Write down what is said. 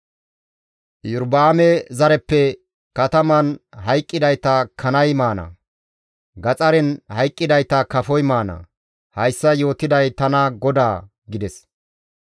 Iyorba7aame zareppe kataman hayqqidayta kanay maana; gaxaren hayqqidayta kafoy maana; hayssa yootiday tana GODAA!› gides.